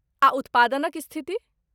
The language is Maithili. आ उत्पादनक स्थिति ?